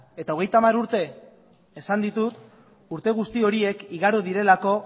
eta hogeita hamar urte esan ditut urte guzti horiek igaro direlako